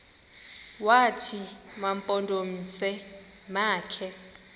wathi mampondomise makhe